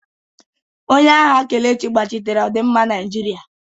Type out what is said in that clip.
Onye agha Kelechi gbachitere ọdịmma Naijiria.